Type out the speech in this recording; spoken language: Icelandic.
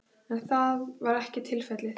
En það var ekki tilfellið